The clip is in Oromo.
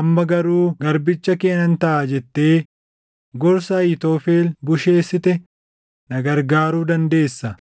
amma garuu garbicha kee nan taʼa’ jettee gorsa Ahiitofel busheessite na gargaaruu dandeessa.